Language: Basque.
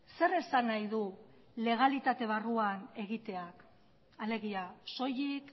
zer esan nahi du legalitate barruan egiteak alegia soilik